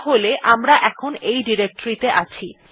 তাহলে আমরা এখন এই ডিরেক্টরী ত়ে আছি